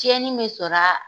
Tiɲɛni be sɔr'a